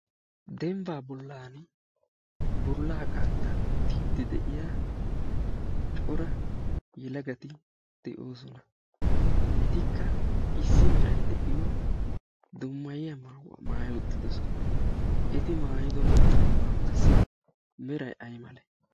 denbbaa bollan bollaa qaattaa oottiiddi de'iya cora yelagati de'oosona etikka issi merai de'iyo dommayiya maawaa maayiuttidosona eti maayido maawaassi merai ai male